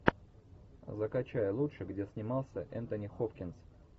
закачай лучше где снимался энтони хопкинс